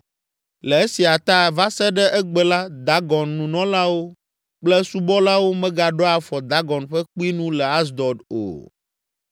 Le esia ta, va se ɖe egbe la, Dagon nunɔlawo kple esubɔlawo megaɖoa afɔ Dagon ƒe kpui nu le Asdod o.